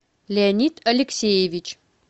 леонид алексеевич